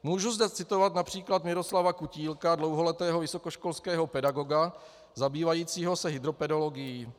Můžu zde citovat například Miroslava Kutílka, dlouholetého vysokoškolského pedagoga zabývajícího se hydropedologií.